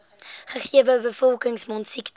gegewe bevolking mondsiektes